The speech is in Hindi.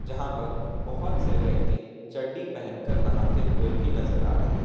यहां पर बहुत से व्यक्ति चड्डी पहनकर नहाते हुए भी नजर आ रहे हैं।